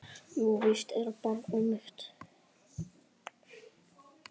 Jú, víst er barnið mitt.